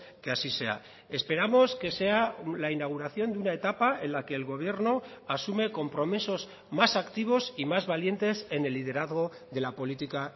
que así sea esperamos que sea la inauguración de una etapa en la que el gobierno asume compromisos más activos y más valientes en el liderazgo de la política